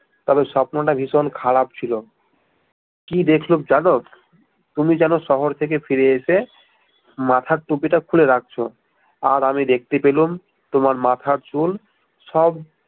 তবে স্বপ্ন টা ভীষণ খারাপ ছিল কি দেখলুম জানো তুমি যেনো শহর থেকে ফিরে এসে মাথার টুপি টা খুলে রাখছ আর আমি দেখতে ফেলুম তোমার মাথার চুল সব